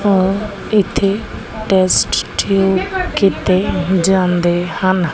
ਔਰ ਇੱਥੇ ਟੈਸਟਟਿਊਬ ਕੀਤੇ ਜਾਂਦੇ ਹਨ।